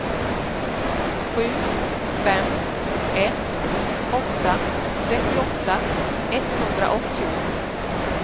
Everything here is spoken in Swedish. sju fem ett åtta trettioåtta etthundraåttio